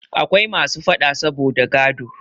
Akwai masu faɗa saboda gado.